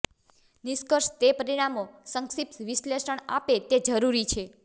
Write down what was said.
નિષ્કર્ષ તે પરિણામો સંક્ષિપ્ત વિશ્લેષણ આપે તે જરૂરી છે